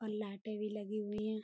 और लाइटें भी लगी हुई हैं।